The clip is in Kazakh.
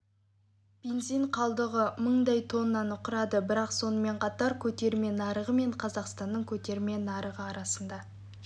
бензин қалдығы мыңдай тоннаны құрады бірақ сонымен қатар көтерме нарығы мен қазақстанның көтерме нарығы арасында